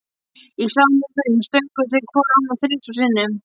Í sama mund stönguðu þeir hvor annan þrisvar sinnum.